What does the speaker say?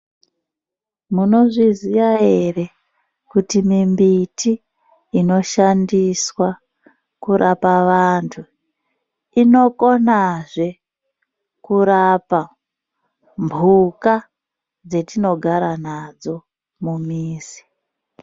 Munozviziva here kuti mumbiti inoshandiswa kurape vantu inokonazve kurape mbuka dzatinogara nadzo mumizi.